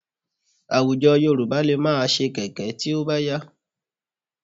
Àwùjọ Yorùbá lè máa ṣe kẹ̀kẹ́ tí ó bá yá